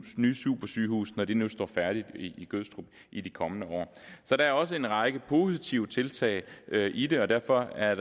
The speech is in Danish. nye supersygehus når det nu står færdigt i gødstrup i de kommende år så der er også en række positive tiltag i det og derfor er